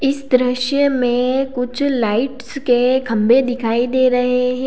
इस दृश्य में कुछ लाइट्स के खंभे दिखाई दे रहे हैं।